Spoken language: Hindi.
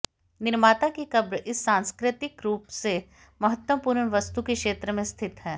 निर्माता की कब्र इस सांस्कृतिक रूप से महत्वपूर्ण वस्तु के क्षेत्र में स्थित है